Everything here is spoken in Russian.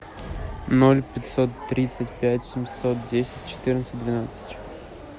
ноль пятьсот тридцать пять семьсот десять четырнадцать двенадцать